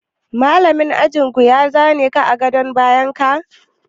Malamin ajin ku ya za ne ka a gadon bayan ka?